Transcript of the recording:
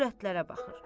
Övrətlərə baxır.